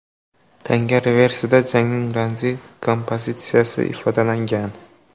Tanga reversida jangning ramziy kompozitsiyasi ifodalangan.